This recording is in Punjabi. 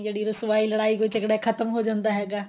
ਜਿਹੜੀ ਰੁਸਵਾਈ ਲੜਾਈ ਕੋਈ ਝਗੜਾ ਖਤਮ ਹੋ ਜਾਂਦਾ ਹੈਗਾ